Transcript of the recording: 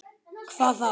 Hvað þá?